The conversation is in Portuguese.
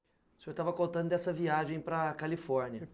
O senhor estava contando dessa viagem para a Califórnia.